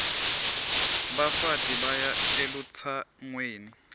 bafati baya elutsangweni